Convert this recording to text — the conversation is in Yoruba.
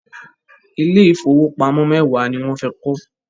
Ilé ìfowópamọ́ mẹ́wàá ni wọ́n fẹ́ kọ́.